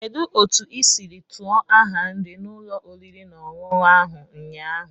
Kedu otu ị siri tuọ ahia nri n'ụlọ oriri na ọṅụṅụ ahụ ụnyaahụ?